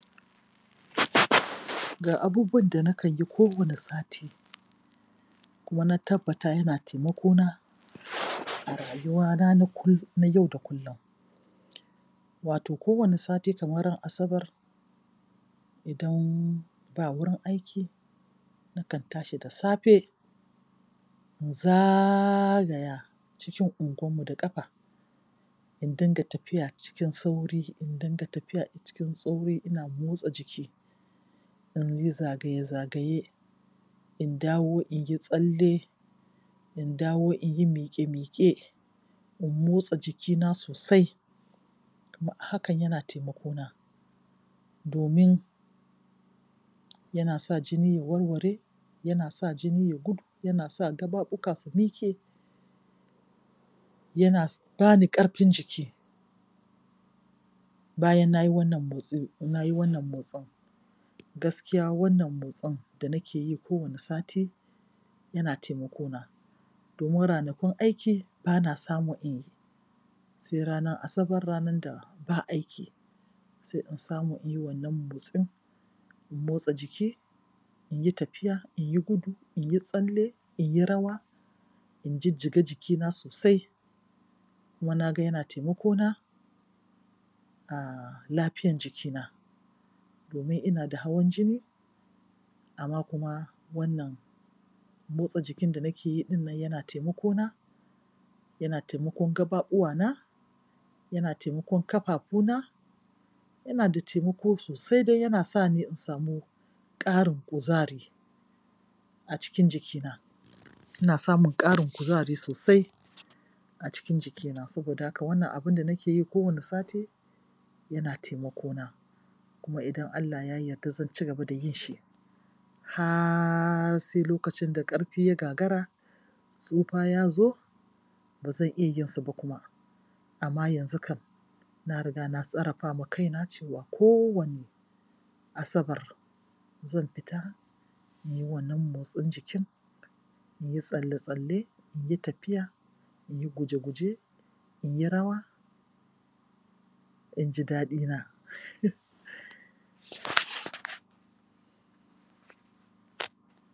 Ga abubuwan da na kalli kowane sati kuma na tabbata yana taimakona a rayuwana na yau da kullum. Wato kowane sati kamar ran Asabar idan ba wurin aiki nakan tashi da safe in zagaya cikin unguwanmu da ƙafa, in dinga tafiya cikin sauri, in dinga tafiya cikin sauri, ina motsa jiki in yi zagaye-zagaye, in dawo in yi tsalle, in dawo in yi miƙe-miƙe in motsa jikina sosai. Hakan yana taimakona domin yana sa jini ya warwara, yana sa jini ya yai gudu, yana sa gaɓaɓuka su miƙe yana ba ni ƙarfin jiki. Bayan na yi wannan motsi, na yi wannan motsin, gaskiya wannan motsin da nake yi kowane sati yana taimakona. domin ranakun aiki ba na samun in yi sai ranar Asabar, ranar da ba aiki, sai in samu in yi wannan motsin, in motsa jiki. In yi tafiya, in yi gudu, in yi tsalle, in yi rawa, in jijjiga jikina sosai. Kuma na ga yana taimakona. A lafiyan jikina domin ina da hawan jini amma kuma wannan motsa jikin nan da nake yi ɗin nan yana taimakona, yana taimakon gaɓaɓuwana, yana taimakon gaɓaɓuna Yana da taimako sosai dai, yana sa ni in samu ƙarin kuzari a cikin jikina. Ina samun ƙarin kuzari sosai. a cikin jikina saboda wannan abun da nake yi kowane sati yana taimakona kuma idan Allah Ya yarda zan ci gaba da yin shi. Har sai lokacin da ƙarfi ya gagara, tsufa ya zo ba zan iya yinsu ba kuma, amma yanzu kam na riga na tsarafa ma kaina cewa kowane Asabar zan fita na yi wannan motsin jiki in yi tsalle-tsalle, in yi tafiya, in yi guje-guje, in yi rawa in ji daɗina um.